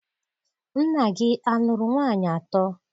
Nna gị a lụrụ nwaanyị atọ?